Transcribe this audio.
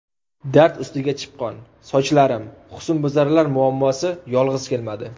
Dard ustiga chipqon… sochlarim… Husnbuzarlar muammosi yolg‘iz kelmadi.